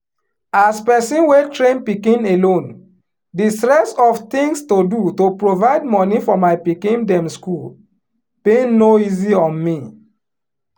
as person wey train pikin alone di stress of tings to do to provide money for my pikin dem school been no easy on me